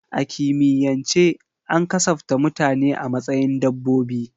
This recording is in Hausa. A kimiyyance an kasafta mutane a matsayin dabbobi.